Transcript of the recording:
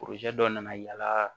dɔ nana yala